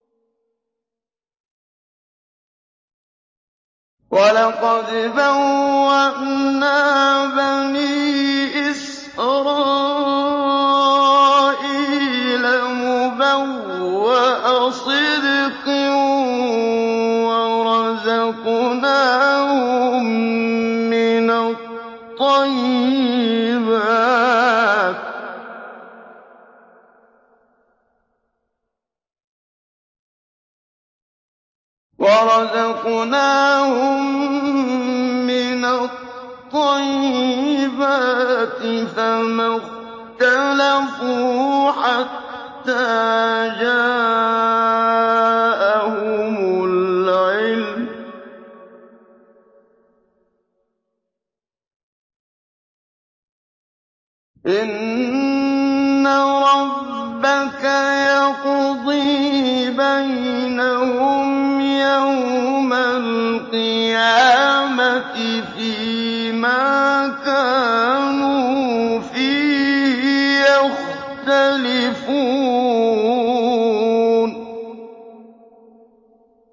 وَلَقَدْ بَوَّأْنَا بَنِي إِسْرَائِيلَ مُبَوَّأَ صِدْقٍ وَرَزَقْنَاهُم مِّنَ الطَّيِّبَاتِ فَمَا اخْتَلَفُوا حَتَّىٰ جَاءَهُمُ الْعِلْمُ ۚ إِنَّ رَبَّكَ يَقْضِي بَيْنَهُمْ يَوْمَ الْقِيَامَةِ فِيمَا كَانُوا فِيهِ يَخْتَلِفُونَ